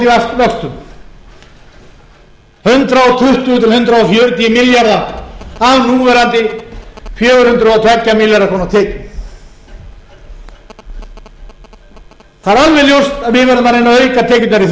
fjögur hundruð og tvo milljarða króna tekjum það er alveg ljóst að við verðum að reyna að auka tekjurnar í